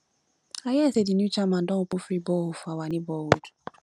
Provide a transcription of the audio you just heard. i hear say the new chairman don open free borehole for our neighborhood